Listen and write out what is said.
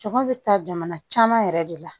Caman bɛ taa jamana caman yɛrɛ de la